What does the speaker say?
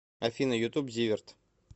афина ютуб зиверт